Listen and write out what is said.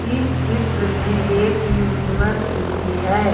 इस चित्र में एक यूनिवर्सिटी है।